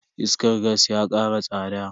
Iskar gas ya kara tsada.